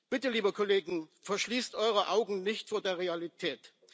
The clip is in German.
Bitte, liebe Kollegen, verschließt eure Augen nicht vor der Realität!